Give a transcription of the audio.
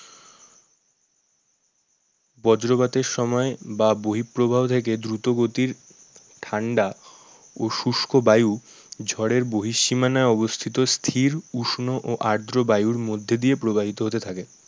বজ্রপাতের সময় বা বহিঃপ্রবাহ থেকে দ্রুতগতির ঠান্ডা ও শুস্ক বায়ু ঝড়ের বহিঃসীমানায় অবস্থিত স্থির উষ্ণ ও আদ্র বায়ুর মধ্যে দিয়ে প্রবাহিত হতে থাকে।